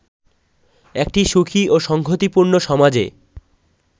একটি সুখী ও সংগতিপূর্ণ সমাজ